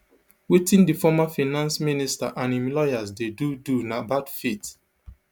wetin di former finance minister and im lawyers dey do do na bad faith